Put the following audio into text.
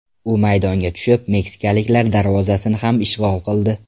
U maydonga tushib, meksikaliklar darvozasini ham ishg‘ol qildi.